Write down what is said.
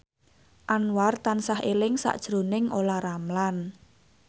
Anwar tansah eling sakjroning Olla Ramlan